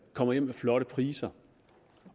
kommer hjem med flotte priser